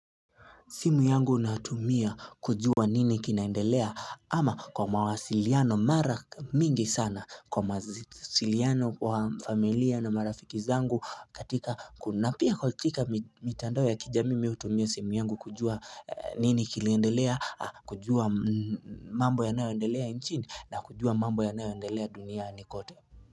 Simu yangu natumia kujua nini kinaendelea ama kwa mawasiliano mara mingi sana kwa mawasiliano kwa familia na marafiki zangu katika na pia katika mitandao ya kijamii mi hutumia simu yangu kujua nini kiliendelea kujua mambo yanayoendelea nchini na kujua mambo yanayoendelea duniani kote.